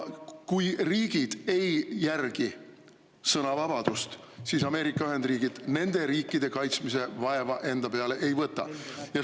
Kui riigid ei järgi sõnavabadust, siis Ameerika Ühendriigid nende riikide kaitsmise vaeva enda peale ei võta.